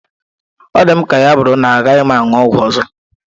Ọ dị m ka ya bụrụ na agaghị m aṅụ ọgwụ ọzọ.